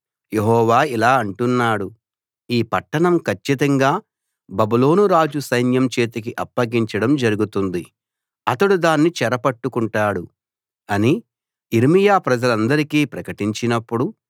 యెహోవా ఇలా అంటున్నాడు ఈ పట్టణం కచ్చితంగా బబులోను రాజు సైన్యం చేతికి అప్పగించడం జరుగుతుంది అతడు దాన్ని చెరపట్టుకుంటాడు అని యిర్మీయా ప్రజలందరికీ ప్రకటించినప్పుడు